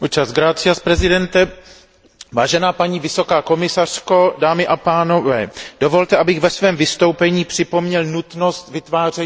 Vážená paní vysoká představitelko, dámy a pánové, dovolte, abych ve svém vystoupení připomněl nutnost vytváření partnerství s Ruskem.